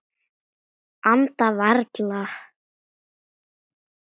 Anda varla.